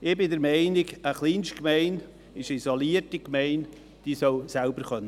– Ich bin der Meinung, eine Kleinstgemeinde, es ist eine isolierte Gemeinde, soll selber leben können.